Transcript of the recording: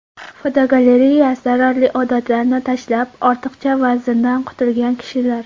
Fotogalereya: Zararli odatlarni tashlab, ortiqcha vazndan qutulgan kishilar.